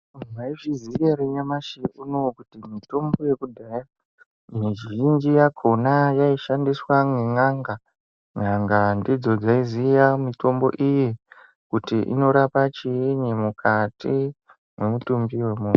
Mwaizviziya ere nyamashi unowu kuti mitombo yekudhaya , mizhinji yakhona yaishandiswa nen'anga. N'anga ndidzo dzaiziya mitombo iyi, kuti inorapa chiini mukati, mwemutumbi wemunhu.